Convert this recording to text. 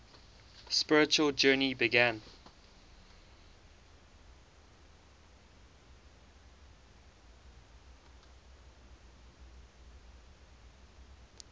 spiritual journey began